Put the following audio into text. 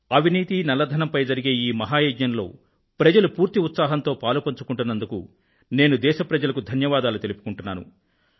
అవినీతిపై నల్లధనంపై జరిగే ఈ మహాయజ్ఞం లో ప్రజలు పూర్తి ఉత్సాహంతో పాలుపంచుకొంటున్నందుకు నేను దేశ ప్రజలకు ధన్యవాదాలు తెలియజేస్తున్నాను